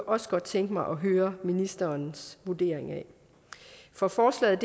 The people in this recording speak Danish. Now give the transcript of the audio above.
også godt tænke mig at høre ministerens vurdering af for forslaget